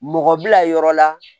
Mɔgɔ bila yɔrɔ la